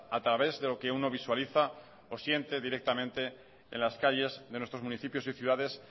a través de lo que uno visualiza o siente directamente en las calles de nuestros municipios y ciudades